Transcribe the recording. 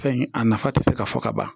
Fɛn in a nafa tɛ se ka fɔ ka ban